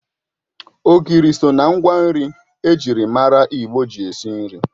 Ogiri so ná ngwa nri ejiri mara Igbo ji esi nri